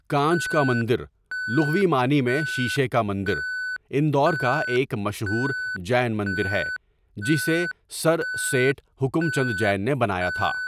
کانچ کا مندر، لغوی معنی میں شیشے کا مندر، اندور کا ایک مشہور جین مندر ہے، جسے سر سیٹھ حکمچند جین نے بنایا تھا۔